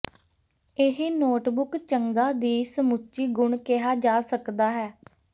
ਇਹ ਨੋਟਬੁੱਕ ਚੰਗਾ ਦੀ ਸਮੁੱਚੀ ਗੁਣ ਕਿਹਾ ਜਾ ਸਕਦਾ ਹੈ